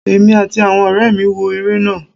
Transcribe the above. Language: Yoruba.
emí atí awọn ọrẹmi wọ ere náá